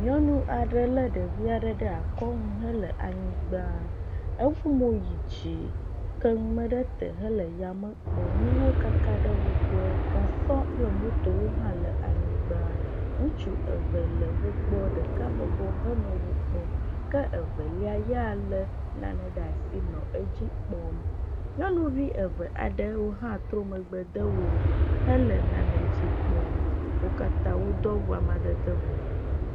Nyɔnu aɖe lé ɖevi aɖe ɖe akɔ nu hele anyigba. Efɔ mo yi dzi ke nume ɖe te hele yame kpɔm. Nuwo kaka ɖe wo gbɔ, gasɔ kple moto hã le anyigba. Ŋutsu eve le wo gbɔ ɖeka bɔbɔ henɔ wokpɔm ke evelia yea lé nane ɖe asi nɔ edzi kpɔm. Nyɔnuvi eve aɖewo hã trɔ megbe de wo hele nane dzi kpɔm. Wo katã wodo awu amadede vovovowo.